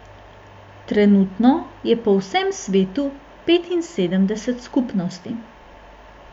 Trenutno je po vsem svetu petinsedemdeset skupnosti.